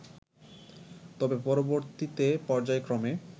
তবে পরবর্তীতে পর্যায়ক্রমে